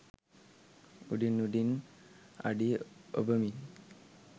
උඩින් උඩින් අඩි ඔබමින්